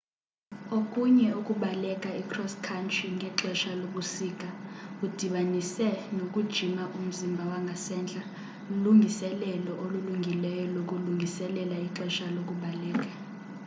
okunye ukubaleka i-cross country ngexesha lobusika udibanise nokujima umzimba wangasentla lulungiselelo olungileyo lokulungiselela ixesha lokubaleka